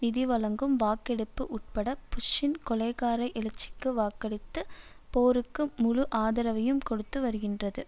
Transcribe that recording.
நிதி வழங்கும் வாக்கெடுப்பு உட்பட புஷ்ஷின் கொலைகார எழுச்சிக்கு வாக்களித்து போருக்கு முழு ஆதரவையும் கொடுத்து வருகின்றது